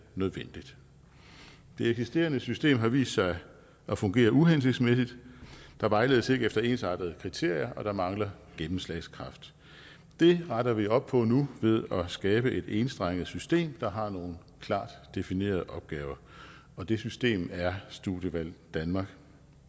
nødvendigt det eksisterende system har vist sig at fungere uhensigtsmæssigt der vejledes ikke efter ensartede kriterier og der mangler gennemslagskraft det retter vi op på nu ved skabe et enstrenget system der har nogle klart definerede opgaver og det system er studievalg danmark